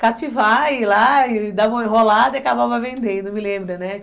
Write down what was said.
cativar, ir lá, dar uma enrolada e acabava vendendo, me lembra, né?